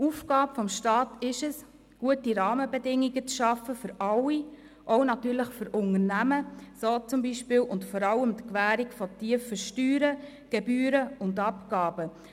Aufgabe des Staats ist es, gute Rahmenbedingungen für alle zu schaffen, natürlich auch für Unternehmen beispielsweise sowie durch die Gewährung von tiefen Steuern, Gebühren und Abgaben.